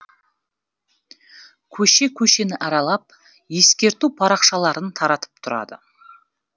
көше көшені аралап ескерту парақшаларын таратып тұрады